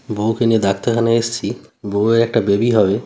বউকে নিয়ে ডাক্তার খানায় এসছি বউয়ের একটি বেবি হবে ।